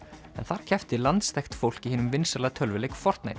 en þar keppti landsþekkt fólk í hinum vinsæla tölvuleik